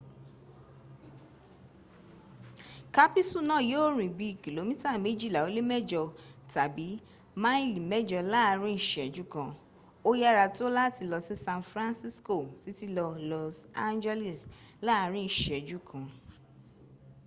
kápísù náà yíò rìn bí i kìlómítà méjìlá ó lé mẹ́jọ tàbí máàlì mẹ́jọ láàrin ìṣẹ́jú kan ó yára tó láti lọ sí san francisco títí lọ los angeles láàrin ìṣẹ́jú kan